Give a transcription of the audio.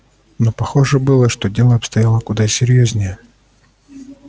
но похоже было что дело обстояло куда серьёзнее